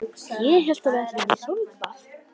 Ég hélt að við ætluðum í sólbað!